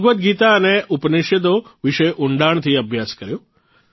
ભગવદગીતા અને ઉપનિષદો વિષે ઉંડાણથી અભ્યાસ કર્યો